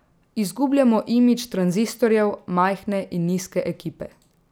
Izgubljamo imidž tranzistorjev, majhne in nizke ekipe.